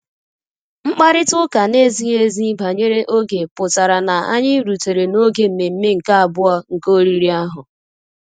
Mkparịta ụka na-ezighi ezi banyere oge pụtara na anyị rutere n'oge mmemme nke abụọ nke oriri ahụ